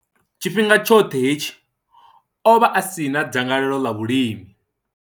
Tshifhinga tshoṱhe hetshi, o vha a si na dzangalelo ḽa vhulimi.